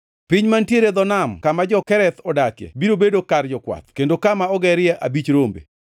Piny mantiere e dho nam kama jo-Kereth odakie biro bedo kar jokwath kendo kama ogerie abich rombe.